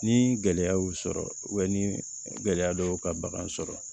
Ni gɛlɛya y'u sɔrɔ ni gɛlɛya dɔw y'u ka bagan sɔrɔ